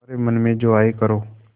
तुम्हारे मन में जो आये करो